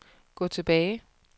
gå tilbage